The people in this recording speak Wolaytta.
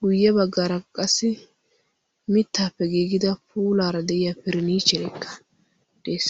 guyye baggaara qassi mittaappe giigida puulaara de'iya piriniicherekka de'ees.